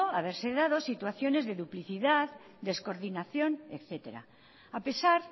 haberse dado situaciones de duplicidad descoordinación etcétera a pesar